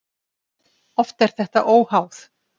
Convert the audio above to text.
Oft er þetta óháð.